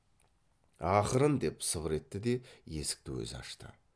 ақырын деп сыбыр етті де есікті өзі ашты